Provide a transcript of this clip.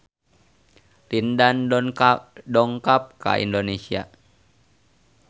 Lin Dan dongkap ka Indonesia